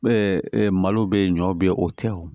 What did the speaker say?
malo bɛ ɲɔ bɛ ye o tɛ o